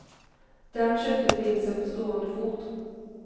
Den köpte prinsen på stående fot.